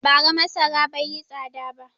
Bara masara bai yi tsada ba.